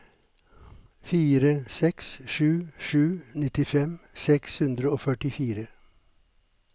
fire seks sju sju nittifem seks hundre og førtifire